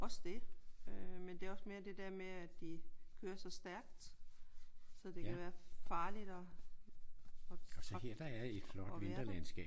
Også det. Men det er også mere det der med at de kører så stærkt så det kan være farligt at at at være der